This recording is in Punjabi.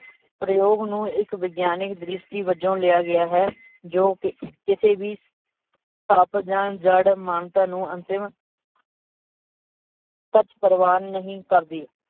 ਪ੍ਰਯੋਗ ਨੂੰ ਇੱਕ ਵਿਗਿਆਨਿਕ ਦ੍ਰਿਸ਼ਟੀ ਵਜੋਂ ਲਿਆ ਗਿਆ ਹੈ ਜੋ ਕਿ ਕਿਸੇ ਵੀ ਤਪ ਜਾਂ ਜੜ੍ਹ ਮੰਤਰ ਨੂੰ ਅੰਤਿਮ ਸੱਚ ਪ੍ਰਵਾਨ ਨਹੀਂ ਕਰਦੀ